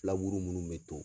Filaburu munnu be to